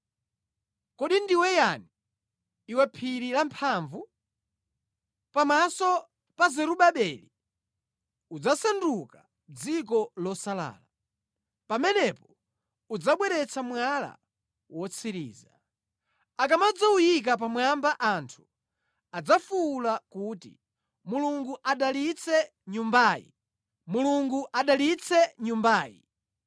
“Kodi ndiwe yani, iwe phiri lamphamvu? Pamaso pa Zerubabeli udzasanduka dziko losalala. Pamenepo adzabweretsa mwala wotsiriza. Akamadzawuyika pamwamba anthu adzafuwula kuti, ‘Mulungu adalitse Nyumbayi! Mulungu adalitse Nyumbayi!’ ”